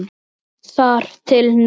Þar til nú.